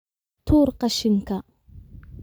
Tuur qashinka